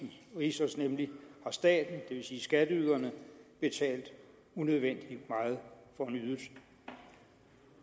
nemlig har staten det vil sige skatteyderne betalt unødvendig meget for en ydelse